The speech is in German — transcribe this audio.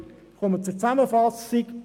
Ich komme zur Zusammenfassung: